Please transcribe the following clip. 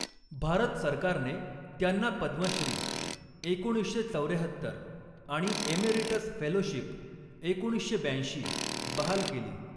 भारत सरकारने त्यांना पद्मश्री एकोणीसशे चौऱ्याहत्तर आणि एमेरिटस फेलोशिप एकोणीसशे ब्याऐंशी मध्ये बहाल केली.